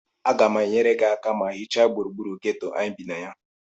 Aga m enyere aka ma hichaa gburugburu geto a anyị bi na ya